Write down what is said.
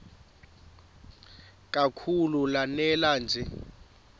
kakhulu lanela nje